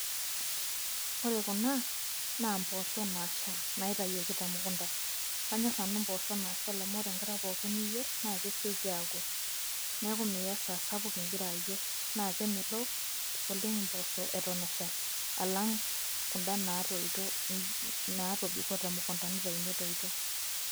Ore kuna naa imboosho naashal naitoyioki temukunta. Kanyor nanu imboosho naashal amu ore enkata pookin niyier naa kesioki aoku, neeku miya esaa sapuk igira ayier, naa kemelook naleng imboosho eton eshal alang' kunda naatobiko temukunta neishori metoyito.